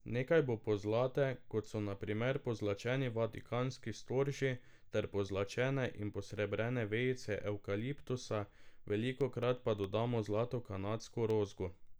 Nekaj bo pozlate, kot so na primer pozlačeni vatikanski storži ter pozlačene in posrebrene vejice evkaliptusa, velikokrat pa dodamo zlato kanadsko rozgo.